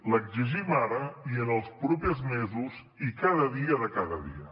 l’exigim ara i en els propers mesos i cada dia de cada dia